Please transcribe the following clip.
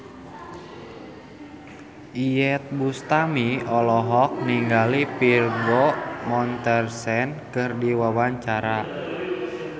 Iyeth Bustami olohok ningali Vigo Mortensen keur diwawancara